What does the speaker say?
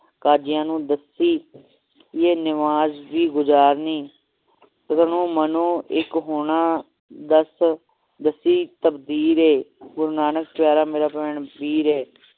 ਕਾਜੀਆਂ ਨੂੰ ਦੱਸੀ ਇਹ ਨਵਾਜ਼ ਦੀ ਗੁਜ਼ਾਰਨੀ ਤਨੋ ਮਨੋ ਇੱਕ ਹੋਣਾ ਦੱਸ ਦੱਸੀ ਤਬਦੀਰ ਹੈ ਗੁਰੂ ਨਾਨਕ ਪਿਆਰਾ ਮੇਰਾ ਭੈਣ ਵੀਰ ਏ